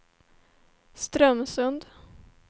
Strömsund